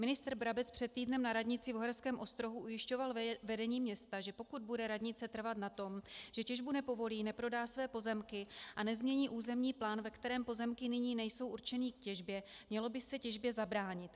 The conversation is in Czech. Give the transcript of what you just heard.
Ministr Brabec před týdnem na radnici v Uherském Ostrohu ujišťoval vedení města, že pokud bude radnice trvat na tom, že těžbu nepovolí, neprodá své pozemky a nezmění územní plán, ve kterém pozemky nyní nejsou určeny k těžbě, mělo by se těžbě zabránit.